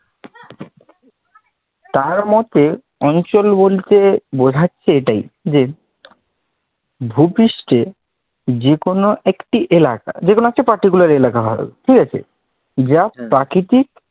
তার মতে অঞ্চল বলতে বোঝাচ্ছে এটাই যে, ভূপৃষ্ঠে যে কোনও একটি এলাকা, যেকোনও একটি particular এলাকা হলেই হবে, ঠিক আছে? যা প্রাকৃতিক